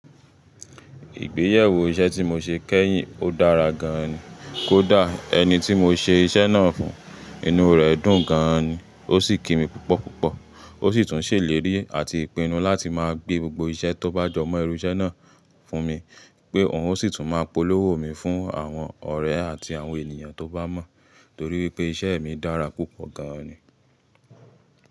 Ìgbéyewó iṣẹ́ tí mo ṣe kẹ́yìn ó dára gan ni, kó dà ẹni tí mo ṣe iṣẹ́ náà fún, inú rẹ̀ dùn gan ni, ó sì kí mi púpọ̀ púpọ̀. Ó sì tún ṣèlérí àti pinnu láti máa gbé gbogbo iṣẹ́ tó bá jọmọ́ irú iṣẹ́ náà fún mi, pé òun ó sì tún máa polówó mi fún àwọn ọ̀rẹ́ àti àwọn ènìyàn tó bá mọ̀, torí wípé iṣẹ́ mi dára púpọ̀ gan ni.